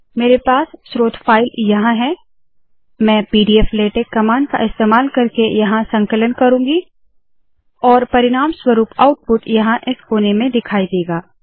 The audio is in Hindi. मेरे पास स्रोत फाइल यहाँ है मैं पीडीफ्लेटेक्स कमांड का इस्तेमाल करके यहाँ संकलन करुँगी और परिणामस्वरूप आउटपुट यहाँ इस कोने में दिखाई देगा